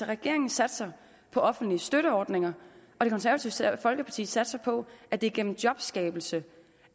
regeringen satser på offentlige støtteordninger og det konservative folkeparti satser på at det er gennem jobskabelse